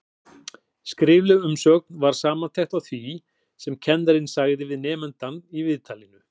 Skrifleg umsögn var samantekt á því sem kennarinn sagði við nemandann í viðtalinu.